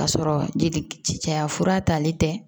K'a sɔrɔ jeli ci caya fura talen tɛ